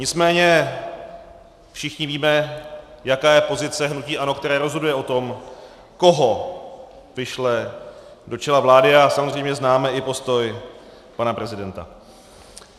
Nicméně všichni víme, jaká je pozice hnutí ANO, které rozhoduje o tom, koho vyšle do čela vlády, a samozřejmě známe i postoj pana prezidenta.